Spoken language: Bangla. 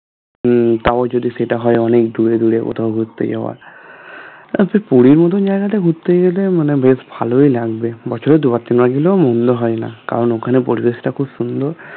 হম তাও যদি সেটা হয় অনেক দূরে দূরে কোথাও ঘুরতে যাওয়া আচ্ছা তরি ঘড়ি জায়গাটা ঘুরতে গেলে ঘুরতে গেলে মানে বেশ ভালোও লাগবে বছরে দুবার তিনবার গেলেও মন্দ হয়না কারণ ওখানের পরিবেশটা খুব সুন্দর